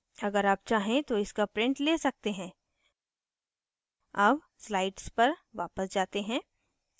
अगर आप चाहें तो इसका print let सकते हैं अब slides पर वापस जाते हैं